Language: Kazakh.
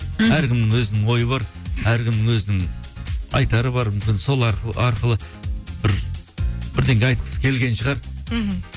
мхм әркімнің өзінің ойы бар әркімнің өзінің айтары бар мүмкін сол арқылы бір бірдеңе айтқысы келген шығар мхм